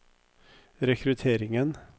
rekrutteringen